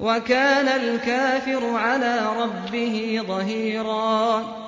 وَكَانَ الْكَافِرُ عَلَىٰ رَبِّهِ ظَهِيرًا